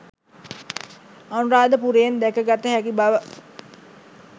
අනුරාධපුරයෙන් දැක ගත හැකි බව